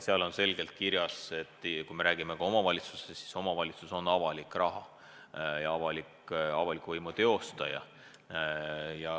Seal on selgelt kirjas, et kui me räägime ka omavalitsustest, siis omavalitsus on avaliku raha kasutaja ja avaliku võimu teostaja.